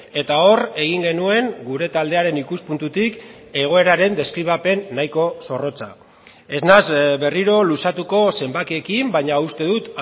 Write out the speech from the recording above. eta hor egin genuen gure taldearen ikuspuntutik egoeraren deskribapen nahiko zorrotza ez naiz berriro luzatuko zenbakiekin baina uste dut